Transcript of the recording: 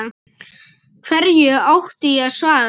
Hverju átti ég að svara?